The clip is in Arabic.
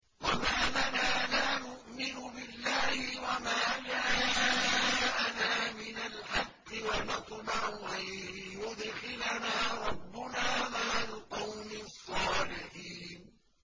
وَمَا لَنَا لَا نُؤْمِنُ بِاللَّهِ وَمَا جَاءَنَا مِنَ الْحَقِّ وَنَطْمَعُ أَن يُدْخِلَنَا رَبُّنَا مَعَ الْقَوْمِ الصَّالِحِينَ